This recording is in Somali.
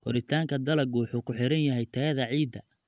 Koritaanka dalaggu wuxuu ku xiran yahay tayada ciidda.